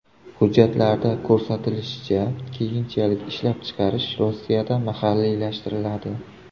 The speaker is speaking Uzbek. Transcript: Hujjatlarda ko‘rsatilishicha, keyinchalik ishlab chiqarish Rossiyada mahalliylashtiriladi.